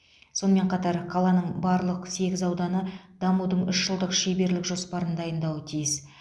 сонымен қатар қаланың барлық сегіз ауданы дамудың үш жылдық шеберлік жоспарын дайындауы тиіс